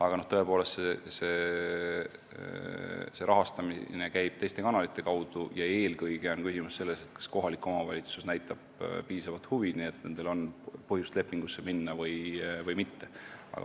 Aga see rahastamine käib tõepoolest teiste kanalite kaudu ja eelkõige on küsimus selles, kas kohalik omavalitsus näitab piisavat huvi, et on põhjust leping sõlmida, või mitte.